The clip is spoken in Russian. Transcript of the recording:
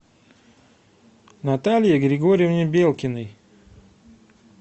наталье григорьевне белкиной